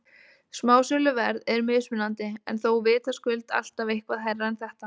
Smásöluverð er mismunandi en þó vitaskuld alltaf eitthvað hærra en þetta.